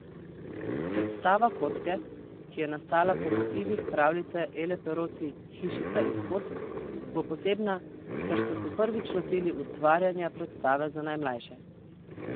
Predstava Kocke, ki je nastala po motivih pravljice Ele Peroci Hišica iz kock, bo posebna, ker so se prvič lotili ustvarjanja predstave za najmlajše.